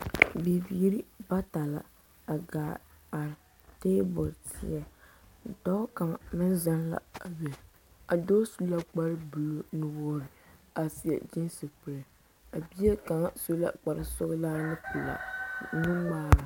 Bibiiri bata la a gaa a are taabol seɛ dɔɔ kaŋa seŋ la a be a dɔɔ su la kpar buluu nuwoori pɔge su kapar buluu nuwoori a seɛ kyiinsi kuree a bie kaŋ su la kpar sɔgelaa nuŋmaara